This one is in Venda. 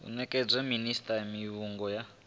u nekedza minisita mivhigo ya